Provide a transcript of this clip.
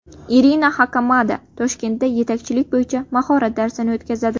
Irina Xakamada Toshkentda yetakchilik bo‘yicha mahorat darsi o‘tkazadi.